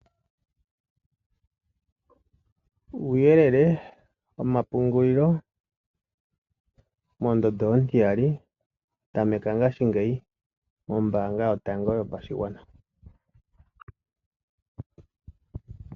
Uuyelele womapungulilo mondondo ontiyaali tameka ngashingeyi mombaanga yotango yopashigwana.